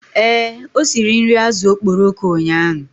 Ee, o siri nri azụ̀ okporoko ụnyahụ.